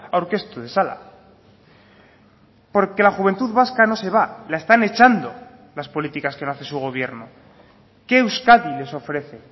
aurkeztu dezala porque la juventud vasca no se va la están echando las políticas que no hace su gobierno qué euskadi les ofrece